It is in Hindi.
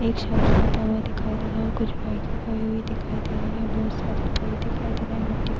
एक शक्श जाता हुआ दिखाई दे रहा है औ कुछ दिखाई दे रही है। बहुत सारे पे दिखाई दे रहे है। मिट्टी --